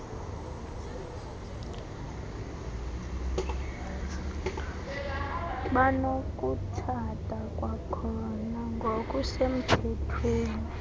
banokutshata kwakhona ngokusemthethweni